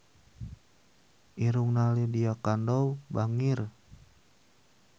Irungna Lydia Kandou bangir